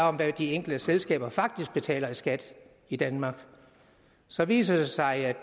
om hvad de enkelte selskaber faktisk betaler i skat i danmark så viser det sig